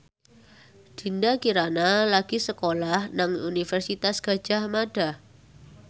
Dinda Kirana lagi sekolah nang Universitas Gadjah Mada